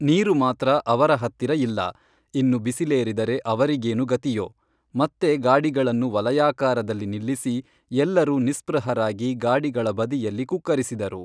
ನೀರು ಮಾತ್ರ ಅವರ ಹತ್ತಿರ ಇಲ್ಲ, ಇನ್ನು ಬಿಸಿಲೇರಿದರೆ ಅವರಿಗೇನು ಗತಿಯೋ, ಮತ್ತೆ ಗಾಡಿಗಳನ್ನು ವಲಯಾಕಾರದಲ್ಲಿ ನಿಲ್ಲಿಸಿ ಎಲ್ಲರೂ ನಿಸ್ಪೃಹರಾಗಿ ಗಾಡಿಗಳ ಬದಿಯಲ್ಲಿ ಕುಕ್ಕರಿಸಿದರು